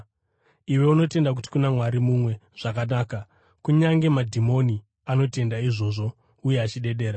Iwe unotenda kuti kuna Mwari mumwe. Zvakanaka! Kunyange madhimoni anotenda izvozvo, uye achidedera.